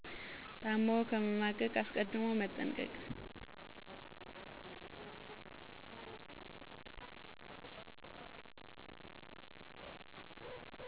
ታሞ ከመማቀቅ አስቀድሞ መጠንቀቅ